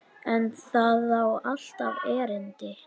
En það á alltaf erindi.